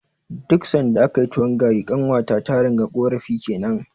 Duk sanda akayi tuwon gari, ƙanwata ta ringa ƙorafi kenan.